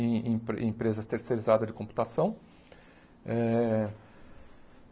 em em empre empresas terceirizadas de computação eh.